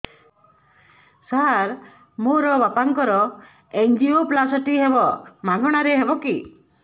ସାର ମୋର ବାପାଙ୍କର ଏନଜିଓପ୍ଳାସଟି ହେବ ମାଗଣା ରେ ହେବ କି